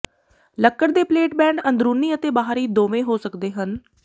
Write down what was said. ਲੱਕੜ ਦੇ ਪਲੇਟਬੈਂਡ ਅੰਦਰੂਨੀ ਅਤੇ ਬਾਹਰੀ ਦੋਵੇਂ ਹੋ ਸਕਦੇ ਹਨ